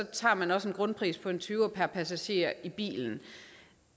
tager man også en grundpris på en tyver per passager i bilen